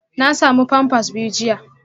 Na samu pampers biyu jiya